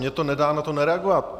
Mně to nedá na to nereagovat.